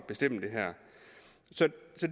bestemme det her så